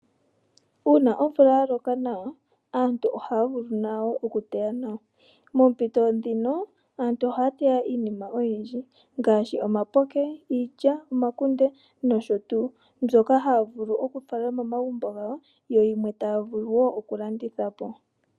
Uuna omvula ya loka nawa aantu nayo ohaya vulu oku teya nawa. Moompito dhino aantu ohaya teya iinima oyindji ngaashi omapoke, iilya, omakunde nosho tuu, mbyoka haya vulu okufala momagumbo gawo yo yimwe taya vulu woo oku landitha po.